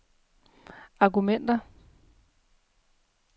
argumenter